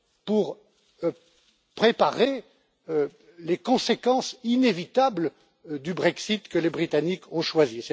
pour préparer les conséquences inévitables du Brexit, que les Britanniques ont choisi.